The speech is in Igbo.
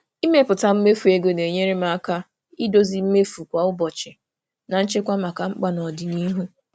Ịmepụta mmefu ego na-enyere m aka idozi mmefu kwa ụbọchị na nchekwa maka mkpa n'ọdịnihu.